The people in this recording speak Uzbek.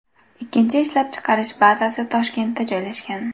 Ikkinchi ishlab chiqarish bazasi Toshkentda joylashgan.